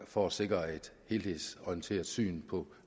for at sikre et helhedsorienteret syn på